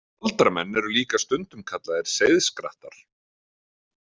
Galdramenn eru líka stundum kallaðir seiðskrattar.